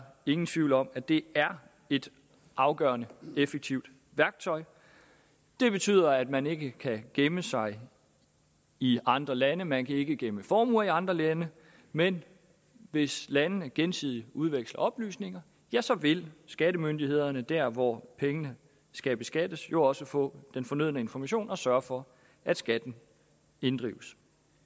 ingen tvivl om at det er et afgørende og effektivt værktøj det betyder at man ikke kan gemme sig i andre lande at man ikke kan gemme formuer i andre lande men hvis landene gensidigt udveksler oplysninger ja så vil skattemyndighederne der hvor pengene skal beskattes jo også få den fornødne information og sørge for at skatten inddrives